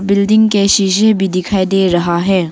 Building के शीशे भी दिखाई दे रहा है।